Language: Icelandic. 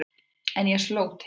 En ég sló til.